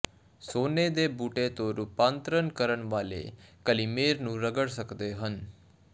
ਸੋਨੇ ਦੇ ਬੂਟੇ ਤੋਂ ਰੂਪਾਂਤਰਣ ਕਰਨ ਵਾਲੇ ਕਲਿਮੇਰ ਨੂੰ ਰਗੜ ਸਕਦੇ ਹਨ